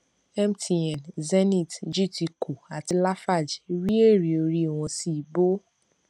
mtn zenith gtco àti lafarge rí èrè orí wọn sì bọ